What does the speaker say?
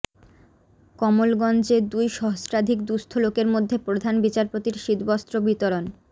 কমলগঞ্জে দুই সহস্রাধিক দুস্থ লোকের মধ্যে প্রধান বিচারপতির শীতবস্ত্র বিতরণ